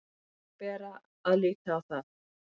Þannig bera að líta á það